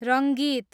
Rangeet